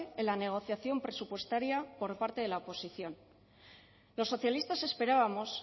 en la negociación presupuestaria por parte de la oposición los socialistas esperábamos